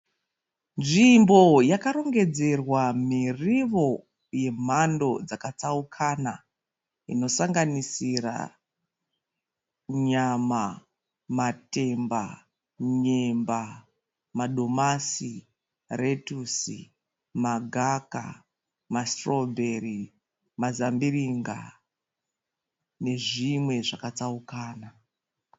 Zvimbo yakarongedzerwa miriwo yemhando dzakatsaukana inosanganisira nyama, matemba, nyemba, madomasi, retusi, magaka, masitirobheri mazambiringa nezvimwe zvakatsaukana.